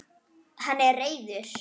Hann er reiður.